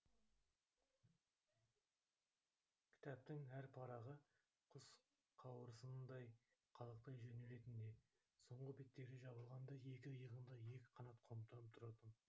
кітаптың әр парағы құс қауырсынындай қалықтай жөнелетін де соңғы беттері жабылғанда екі иығыңда екі қанат қомданып тұратын